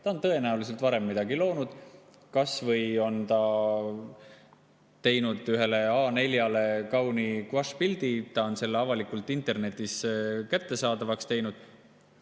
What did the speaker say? Ta on tõenäoliselt varemgi midagi loonud, kas või on teinud A4-le kauni guaššpildi ja on selle avalikult internetis kättesaadavaks teinud.